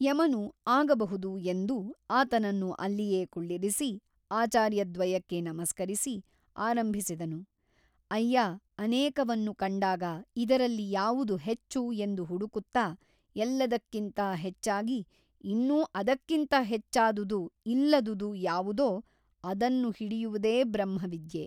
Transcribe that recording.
ಯಮನು ಆಗಬಹುದು ಎಂದು ಆತನನ್ನು ಅಲ್ಲಿಯೇ ಕುಳ್ಳಿರಿಸಿ ಆಚಾರ್ಯದ್ವಯಕ್ಕೆ ನಮಸ್ಕರಿಸಿ ಆರಂಭಿಸಿದನು ಅಯ್ಯಾ ಅನೇಕವನ್ನು ಕಂಡಾಗ ಇದರಲ್ಲಿ ಯಾವುದು ಹೆಚ್ಚು ಎಂದು ಹುಡುಕುತ್ತಾ ಎಲ್ಲದಕ್ಕಿಂತ ಹೆಚ್ಚಾಗಿ ಇನ್ನು ಅದಕ್ಕಿಂತ ಹೆಚ್ಚಾದುದು ಇಲ್ಲದುದು ಯಾವುದೋ ಅದನ್ನು ಹಿಡಿಯುವುದೇ ಬ್ರಹ್ಮವಿದ್ಯೆ.